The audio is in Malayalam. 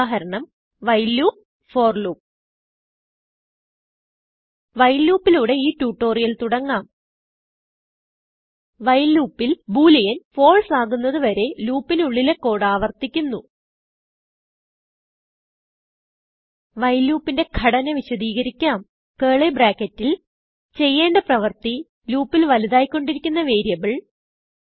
ഉദാഹരണം while loop for loop while loopലൂടെ ഈ ട്യൂട്ടോറിയൽ തുടങ്ങാം വൈൽ loopൽ booleanfalseആകുന്നത് വരെ ലൂപ്പ് നുള്ളിലെ കോഡ് ആവർത്തിക്കുന്നു വൈൽ loopന്റെ ഘടന വിശദികരിക്കാം കർലി barcketൽ ചെയ്യേണ്ട പ്രവർത്തി loopൽ വലുതായി കൊണ്ടിരിക്കുന്ന വേരിയബിൾ